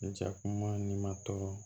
Jakuma ni matɔ